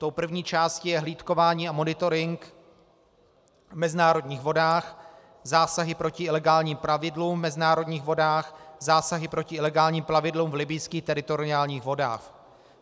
Tou první částí je hlídkování a monitoring v mezinárodních vodách, zásahy proti ilegálním plavidlům v mezinárodních vodách, zásahy proti ilegálním plavidlům v libyjských teritoriálních vodách.